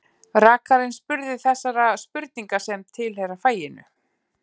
Rakarinn spurði þessara spurninga sem tilheyra faginu: